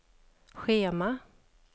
schema